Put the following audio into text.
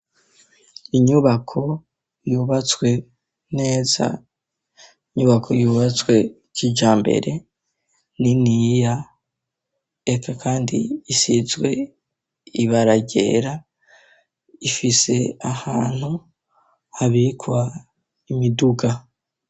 Inyubako yubatswe neza inyubako yubatswe cijya mbere nini yya k kandi isitzwe ibaragera ifise ahantu habikwa imiduga.